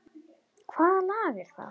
Hvaða lag er það?